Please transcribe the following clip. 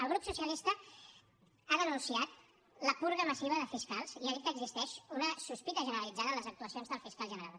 el grup socialista ha denunciat la purga massiva de fiscals i ha dit que existeix una sospita generalitzada en les actuacions del fiscal general